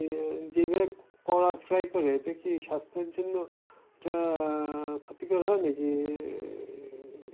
আহ যেইভাবে করা fry করে এতে কি স্বাস্থ্যের জন্য এটা ক্ষতিকর হয়? নাকি আহ